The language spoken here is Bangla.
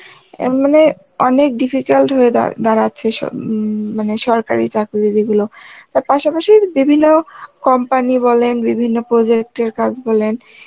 এমনে অনেক difficult হয়ে দা~ দাঁড়াচ্ছে সব উম মানে সরকারি চাকরি যেগুলো তার পাশাপাশি বিভিন্ন company বলেন বিভিন্ন project এর কাজ বলেন